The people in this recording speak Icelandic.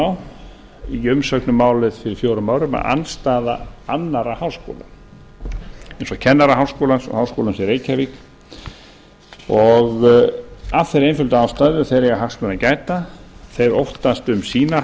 á í umsögn um málið fyrir fjórum árum andstaða annarra háskóla eins og kennaraháskólans og háskólans í reykjavík af þeirri einföldu ástæðu að þeir eiga hagsmuna að gæta þeir óttast um sína